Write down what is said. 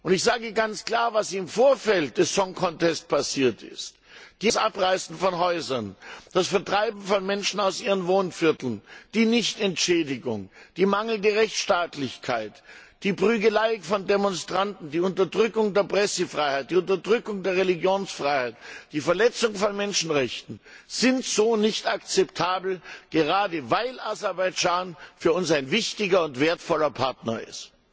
Ich sage ganz klar Was im Vorfeld des Song Contest passiert ist das Abreißen von Häusern, das Vertreiben von Menschen aus ihren Wohnvierteln, die Nichtentschädigung, die mangelnde Rechtsstaatlichkeit, die Prügelei von Demonstranten, die Unterdrückung der Pressefreiheit, die Unterdrückung der Religionsfreiheit, die Verletzung von Menschenrechten ist so nicht akzeptabel, gerade weil Aserbaidschan für uns ein wichtiger und wertvoller Partner ist.